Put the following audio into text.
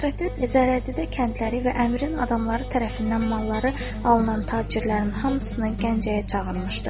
Fəxrəddin zərərçəkədə kəndləri və əmirin adamları tərəfindən malları alınan tacirlərin hamısını Gəncəyə çağırmışdı.